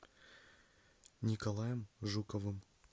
николаем жуковым